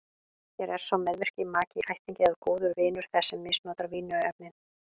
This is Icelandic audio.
Hér er sá meðvirki maki, ættingi eða góður vinur þess sem misnotar vímuefnin.